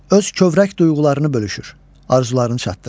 Öz kövrək duyğularını bölüşür, arzularını çatdırır.